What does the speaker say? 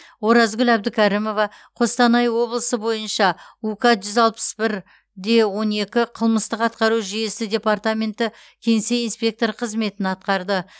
оразгүл әбдікәрімова қостанай облысы бойынша ук жүз алпыс бір де он екі қылмыстық атқару жүйесі департаменті кеңсе инспекторы қызметін атқарды